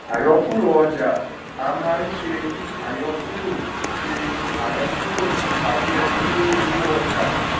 àyọkúrò ọjà a máa n ṣe àyọkúrò ṣe àyọkúrò tábí ènì lóri owó ọjà